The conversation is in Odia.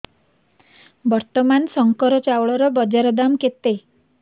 ବର୍ତ୍ତମାନ ଶଙ୍କର ଚାଉଳର ବଜାର ଦାମ୍ କେତେ